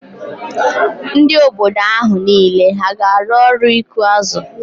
Ndị obodo ahụ niile hà ga-arụ ọrụ ịkụ azụ?